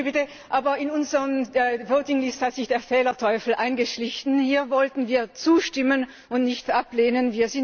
Entschuldigen Sie bitte, aber in unserer Abstimmungsliste hat sich der Fehlerteufel eingeschlichen. Hier wollten wir zustimmen und nicht ablehnen.